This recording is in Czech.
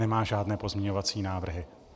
Nemá žádné pozměňovací návrhy.